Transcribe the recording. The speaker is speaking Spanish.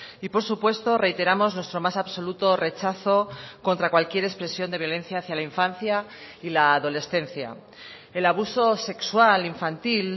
y por supuesto reiteramos nuestro más absoluto rechazo contra cualquier expresión de violencia hacía la infancia y la adolescencia el abuso sexual infantil